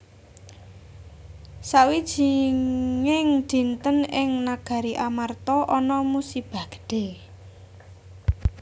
Sawijinging dinten ing Nagari Amarta ana musibah gedhe